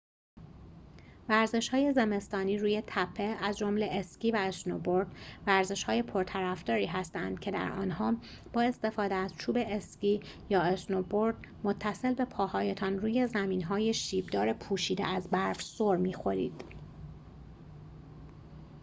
ورزش‌های زمستانی روی تپه از جمله اسکی و اسنوبورد ورزش‌های پرطرفداری هستند که در آنها با استفاده از چوب اسکی یا اسنوبورد متصل به پاهایتان روی زمین‌های شیب‌دار پوشیده از برف سرمی‌خورید